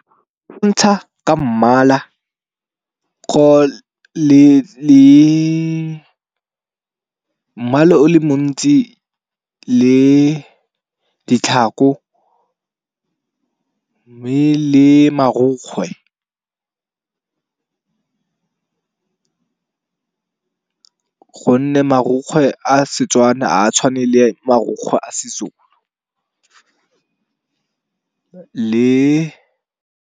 Ka mmala, le mmala o le montsi, le ditlhako mme le marukgwe. Gonne marukgwe a setswana ha a tshwane le marukgwe a seZulu le .